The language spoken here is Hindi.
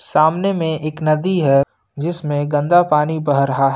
सामने में एक नदी है जिसमें गंदा पानी बह रहा है।